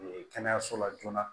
Ee kɛnɛyaso la joona